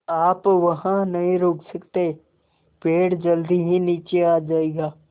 आप वहाँ नहीं रुक सकते पेड़ जल्दी ही नीचे आ जाएगा